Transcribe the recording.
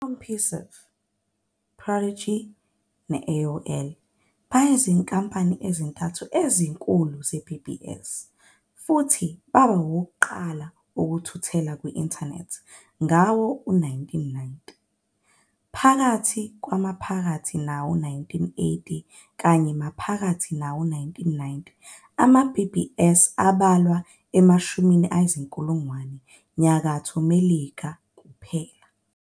ICompuserve, Prodigy ne-AOL beyizinkampani ezintathu ezinkulu zeBBS futhi baba ngabokuqala ukuthuthela kwi-Intanethi ngawo-1990. Phakathi kwamaphakathi nawo-1980 kuya maphakathi nawo-1990, ama-BBS abalwa emashumini ezinkulungwane eNyakatho Melika kuphela.